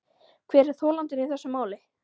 Hver er þolandinn í þessu máli.